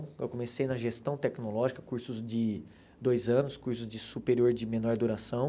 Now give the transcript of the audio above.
Eu comecei na gestão tecnológica, cursos de dois anos, cursos de superior de menor duração.